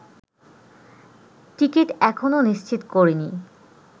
ticket এখনো নিশ্চিত করিনি